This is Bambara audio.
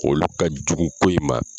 Olu ka jugun ko in ma.